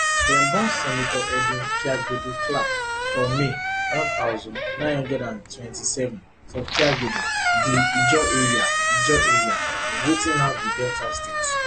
dem born senator edwin kiagbodo clark for may one thousand, nine hundred and twenty-seven for kiagbodo di ijaw area ijaw area of wetin now be delta state